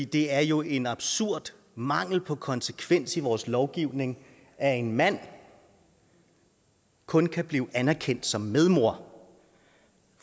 det er jo en absurd mangel på konsekvens i vores lovgivning at en mand kun kan blive anerkendt som medmor